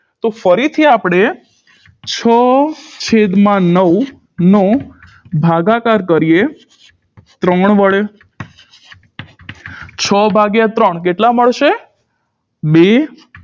તો ફરીથી આપણે છ છેદમાં નવનો ભાગાકાર કરીએ ત્રણ વડે છ ભાગ્યા ત્રણ કેટલા મળશે બે